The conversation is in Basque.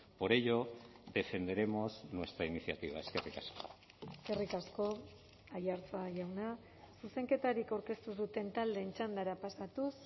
por ello defenderemos nuestra iniciativa eskerrik asko eskerrik asko aiartza jauna zuzenketarik aurkeztu ez duten taldeen txandara pasatuz